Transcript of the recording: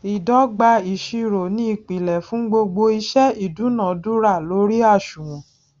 ìdọgba ìṣirò ni ìpìlè fún gbogbo iṣẹ ìdúnadúrà lórí àṣùwòn